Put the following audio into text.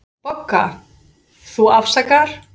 BOGGA: Þú afsakar.